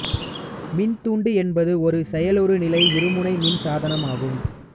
மின்தூண்டி என்பது ஒரு செயலறு நிலை இருமுனை மின் சாதனமாகும்